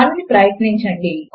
దానిని ప్రయత్నించండి